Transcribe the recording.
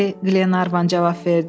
Bəli, Qlenarvan cavab verdi.